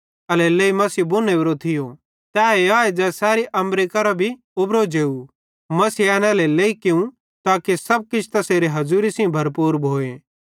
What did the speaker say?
एल्हेरेलेइ मसीह बुन ओरो थियो तैए आए ज़ै सैरी अम्बरे करां भी उबरो जेव मसीहे एन एल्हेरेलेइ कियूं ताके सब किछ तैसेरे हज़ूरी सेइं भरपूर भोए